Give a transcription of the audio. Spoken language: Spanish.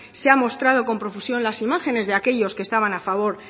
se ha mostrado con profusión las imágenes de aquellos que estaban a favor